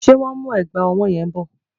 Ṣé wọ́n ń mú ẹ̀gbà ọwọ́ yẹn bọ?